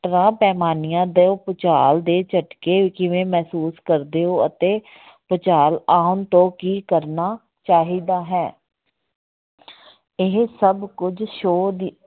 ਪੈਮਾਨੀਆਂ ਤੋਂ ਭੁਚਾਲ ਦੇ ਝਟਕੇ ਕਿਵੇਂ ਮਹਿਸੂਸ ਕਰਦੇ ਹੋ ਅਤੇ ਭੁਚਾਲ ਆਉਣ ਤੋਂ ਕੀ ਕਰਨਾ ਚਾਹੀਦਾ ਹੈ ਇਹ ਸਭ ਕੁਝ show ਦੇ